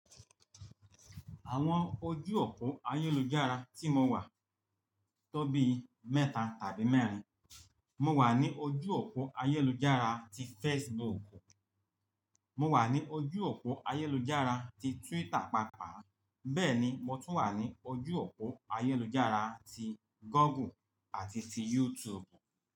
Àwọn ojú òpó ayélujára tí mo wà tóbi mẹ́ta tàbí mẹ́rin. Mo wà ní ojú òpó ayélujára ti Facebook. Mo wà ní ojú òpó ayélujára ti Twitter, pàápàá bẹ́ẹ̀ ni mo tún wà ní ojú òpó ayélujára ti Google àti ti YouTube.